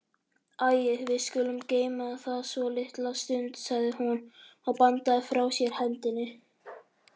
Æi, við skulum geyma það svolitla stund, sagði hún og bandaði frá sér hendinni.